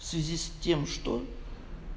в связи с тем что